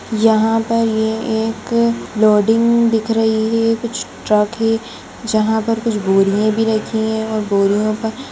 यहाँ पर ये एक लोडिंग दिख रही है कुछ ट्रक हैं जहाँ पर कुछ बोरियाँ भी रखी हुई हैं और बोरियो पर--